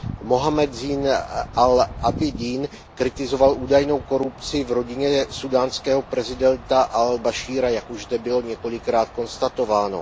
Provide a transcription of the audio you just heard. Muhammad Zajn al Ábidín kritizoval údajnou korupci v rodině súdánského prezidenta al Bašíra, jak už zde bylo několikrát konstatováno.